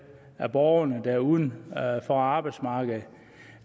af borgerne der er uden for arbejdsmarkedet